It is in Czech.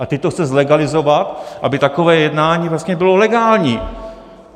A teď to chce zlegalizovat, aby takové jednání vlastně bylo legální.